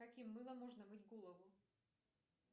каким мылом можно мыть голову